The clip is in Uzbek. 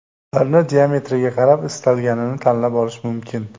Ularni diametriga qarab istalganini tanlab olish mumkin.